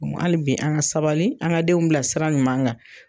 Kuma hali bi an ŋa sabali an ŋa denw bila sira ɲuman ŋa.